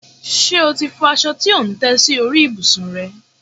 Ṣe o ti fọ aṣọ tí ò ń tẹ́ sórí ìbùsùn rẹ?